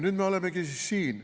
Nüüd me olemegi siin.